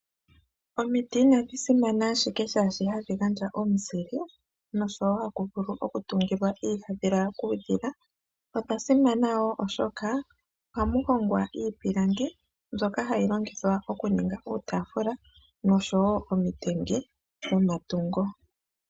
Omiti inadhi simana ashike sho hadhi gandja omuzile ashike, momiti omo woo hamu hongwa iipilangi mbyoka hayi longithwa oku ndulukapo iitaafula.